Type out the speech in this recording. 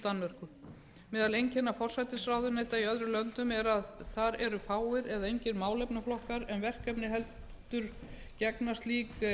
danmörku meðal einkenna forsætisráðuneyta í öðrum löndum er að þar eru fáir eða engir málefnaflokkar eða verkefni heldur gegna slík